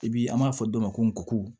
I bi an b'a fɔ dɔ ma ko nko